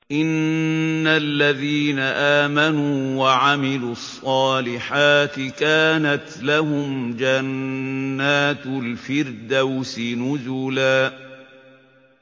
إِنَّ الَّذِينَ آمَنُوا وَعَمِلُوا الصَّالِحَاتِ كَانَتْ لَهُمْ جَنَّاتُ الْفِرْدَوْسِ نُزُلًا